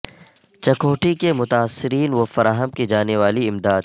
چکوٹھی کے متاثرین و فراہم کی جانے والی امداد